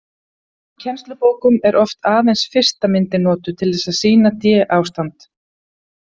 Í kennslubókum er oft aðeins fyrsta myndin notuð til þess að sýna d-ástand.